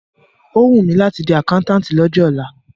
Ó wùn mí láti di àkáńtátì lọ́jọ́ ọ̀la.